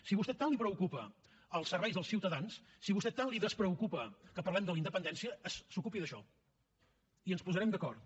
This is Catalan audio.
si a vostè tant li preocupen els serveis als ciutadans si a vostè tant li despreocupa que parlem de la independència s’ocupi d’això i ens posarem d’acord